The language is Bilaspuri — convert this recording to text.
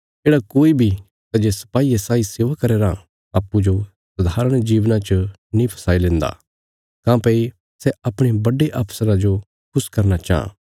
येढ़ा कोई बी सै जे सपाईये साई सेवा करया राँ अप्पूँजो सधारण जीवना च नीं फसाई लेंदा काँह्भई सै अपणे बड्डे अफसरा जो खुश करना चांह